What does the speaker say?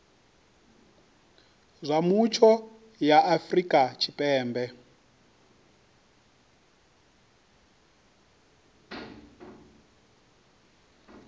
zwa mutsho ya afrika tshipembe